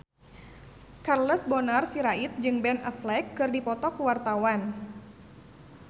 Charles Bonar Sirait jeung Ben Affleck keur dipoto ku wartawan